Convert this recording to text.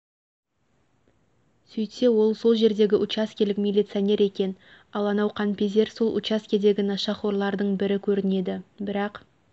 сөйтсе ол сол жердегі учаскелік миллицоинер екен ал анау қанпезер сол учаскедегі нашақорлардың бірі көрінеді бірақ